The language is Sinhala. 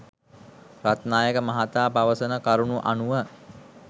රත්නායක මහතා පවසන කරුණු අනුව